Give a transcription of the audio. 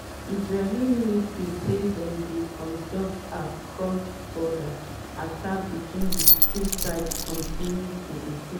israeli military say dem dey conduct as cross-border attacks between di two sides continue to increase.